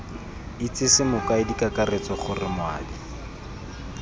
itsese mokaedi kakaretso gore moabi